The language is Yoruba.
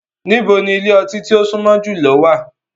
Nibo ni ile-ọti ti o sunmọ julọ wa?